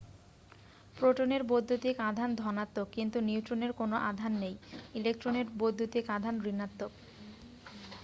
প্রোটনের বৈদ্যুতিক আধান ধনাত্মক কিন্তু নিউট্রনের কোন আধান নেই ইলেক্ট্রনের বৈদ্যুতিক আধান ঋণাত্মক